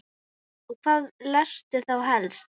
Og hvað lestu þá helst?